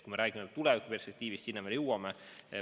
Kui me räägime tulevikuperspektiivist, siis sinna me veel jõuame.